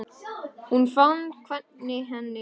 Hún fann hvernig henni létti.